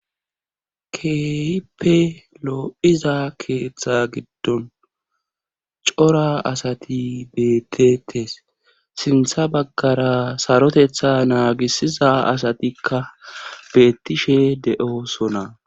Keehippe loo'iza keeththa giddon cora asati beettetes. Sintta baggara saroteta naagisiza asatikka beettishe de'osona.